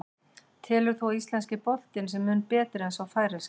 Telur þú að íslenski boltinn sé mun betri en sá færeyski?